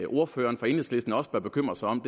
ordføreren for enhedslisten også bør bekymre sig om